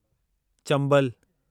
Chambal